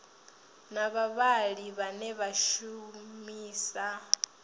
na vhavhali vhane vha shumisa